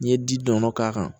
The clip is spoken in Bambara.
N'i ye ji dɔɔni k'a kan